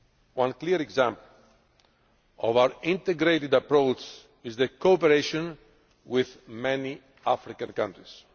One clear example of our integrated approach is the cooperation with many African countries.